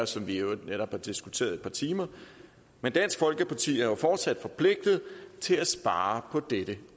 som vi i øvrigt netop har diskuteret et par timer men dansk folkeparti er jo fortsat forpligtet til at spare på dette